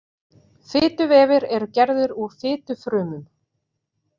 Fituvefir eru gerðir úr fitufrumum.